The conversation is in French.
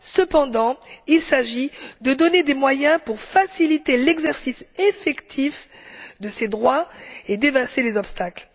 Cependant, il s'agit de donner des moyens pour faciliter l'exercice effectif de ces droits et d'éliminer les obstacles.